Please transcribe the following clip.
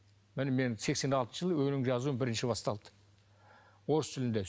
міне менің сексен алтыншы жылы өлең жазу бірінші басталды орыс тілінде